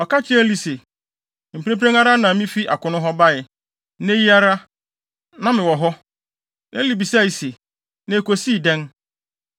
Ɔka kyerɛɛ Eli se, “Mprempren ara na mifi akono hɔ bae. Nnɛ yi ara, na mewɔ hɔ.” Eli bisae se, “Na ekosii dɛn?”